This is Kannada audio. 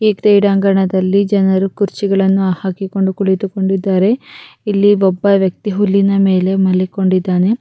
ಈ ಕ್ರೀಡಾಂಗಣದಲ್ಲಿ ಜನರು ಕುರ್ಚಿಗಳನ್ನು ಹಾಕಿಕೊಂಡು ಕುಳಿತು ಕೊಂಡಿದ್ದಾರೆ ಇಲ್ಲಿ ಒಬ್ಬ ವ್ಯಕ್ತಿ ಹುಲ್ಲಿನ ಮೇಲೆ ಮಲಿಕೊಂಡಿದ್ದಾನೆ